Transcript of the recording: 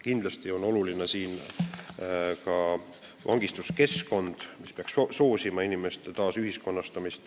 Kindlasti on oluline ka vangistuskeskkond, mis peaks soosima inimeste taasühiskonnastamist.